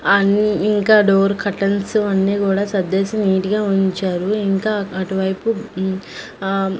అన్నీ ఇంకా door curtains అన్నీ కూడా సర్దేసి నీట్ గా ఉంచారు ఇంకా అటు వైపూ మ్ ఆ--